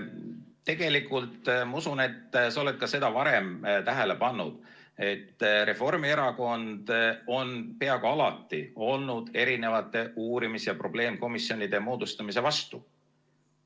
Tegelikult ma usun, et sa oled seda ka varem tähele pannud, et Reformierakond on peaaegu alati olnud uurimis- ja probleemkomisjonide moodustamise vastu.